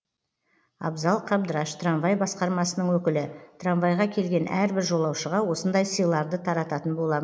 абзал қабдраш трамвай басқармасының өкілі трамвайға келген әрбір жолаушыға осындай сыйларды тарататын болам